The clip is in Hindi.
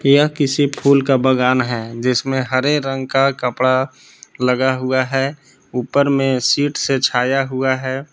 यह किसी फूल का बगान है जिसमें हरे रंग का कपड़ा लगा हुआ है ऊपर में सीट से छाया हुआ है।